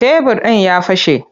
Tebir ɗin ya fashe.